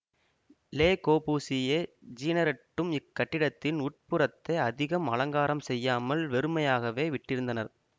லெ கொபூசியே ஜீனரெட்டும் இக் கட்டிடத்தின் உட் புறத்தெ அதிகம் அலங்காரம் செய்யாமல் வெறுமையாகவே விட்டிருந்தனர்